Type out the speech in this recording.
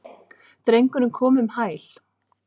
Drengurinn kom um hæl.